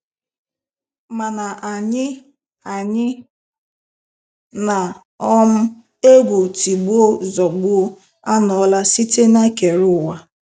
Mana Anyị Anyị na um egwu tigbuo, zọgbuo anọla site n'ekere ụwa.